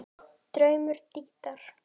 Draumur Dídíar